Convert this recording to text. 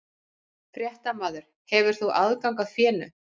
Fréttamaður: Hefur þú aðgang að fénu?